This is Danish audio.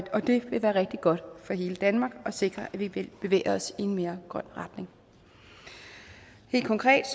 og det vil være rigtig godt for hele danmark og sikre at vi vil bevæge os i en mere grøn retning helt konkret